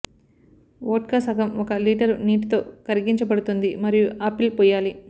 vodka సగం ఒక litre నీటితో కరిగించబడుతుంది మరియు ఆపిల్ పోయాలి